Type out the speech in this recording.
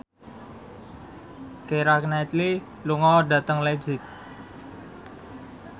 Keira Knightley lunga dhateng leipzig